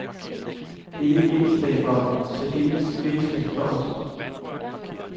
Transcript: Dette indslag var særdeles væsentligt for os.